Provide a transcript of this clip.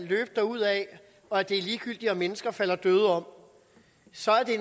løbe derudad og at det er ligegyldigt om mennesker falder døde om så er det